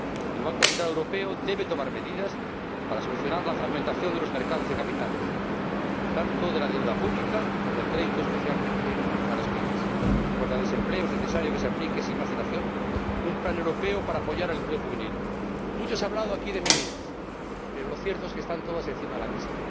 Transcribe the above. El Banco Central Europeo debe tomar medidas para solucionar la fragmentación de los mercados de capitales, tanto de la deuda pública como del crédito, especialmente el destinado a las PYME. En cuanto al desempleo, es necesario que se aplique sin más dilación un plan europeo para apoyar el empleo juvenil. Mucho se ha hablado aquí de medidas, pero lo cierto es que están todas encima de la mesa.